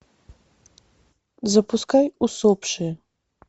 запускай усопшие